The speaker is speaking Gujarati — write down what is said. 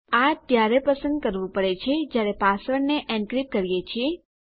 આ ત્યારે પસંદ કરવું પડે છે જયારે પાસવર્ડને એનક્રિપ્ટ કરીએ છીએ